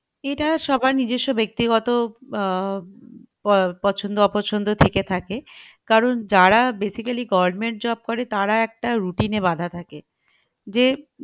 এটা সবার নিজ্জসো ব্যাক্তিগত আহ প ~পছন্দ অপছন্দ থেকে থাকে কারন যারা basically government job করে তারা একটা routine এ বাধা থাকে যে